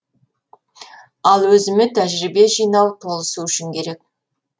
ал өзіме тәжірибе жинау толысу үшін керек